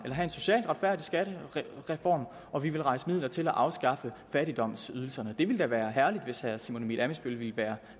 have en socialt retfærdig skattereform og vi vil rejse midler til at afskaffe fattigdomsydelserne det ville da være herligt hvis herre simon emil ammitzbøll ville være